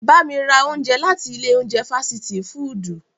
Ba mi ra ounjẹ lati ile ounjẹ fasiti fudu!